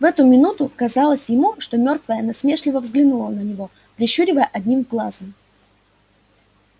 в эту минуту казалось ему что мёртвая насмешливо взглянула на него прищуривая одним глазом